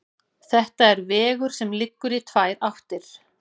Þetta er vegur sem liggur í tvær áttir.